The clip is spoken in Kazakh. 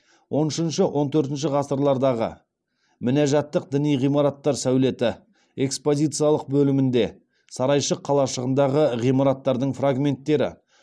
он үшінші он төртінші ғасырлардағы мінәжатттық діни ғимараттар сәулеті экспозициялық бөлімінде сарайшық қалашығындағы ғимараттардың фрагменттері